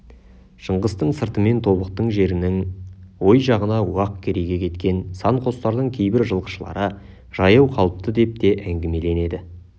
шыңғыстың сыртымен тобықты жерінің ой жағына уақ керейге кеткен сан қостардың кейбір жылқышылары жаяу қалыпты деп те әңгімеленеді